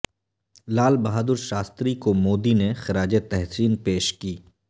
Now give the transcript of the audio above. لال بہادر شاستری کو مودی نے خراج تحسین پیش کی